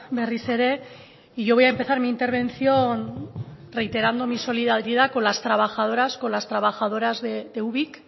berriz ere y yo voy a empezar mi intervención reiterando mi solidaridad con las trabajadoras con las trabajadoras de ubik